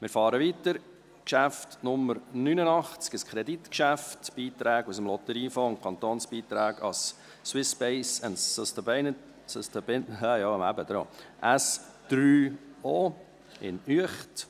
Wir fahren weiter, Geschäft Nummer 89, ein Kreditgeschäft, «Beitrag aus dem Lotteriefonds und Kantonsbeiträge an das Swiss Space & Sustainability Oservatory SO, Uecht».